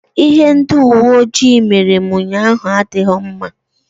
Ihe ndị uwe ojii mere m ụnyaahụ adịghị mma.